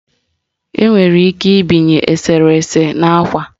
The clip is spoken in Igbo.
Enwere ike ibinye eserese n'ákwà